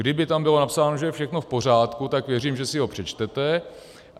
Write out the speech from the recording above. Kdyby tam bylo napsáno, že je všechno v pořádku, tak věřím, že si ho přečtete.